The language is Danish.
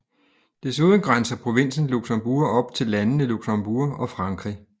Desuden grænser provinsen Luxembourg op til landene Luxembourg og Frankrig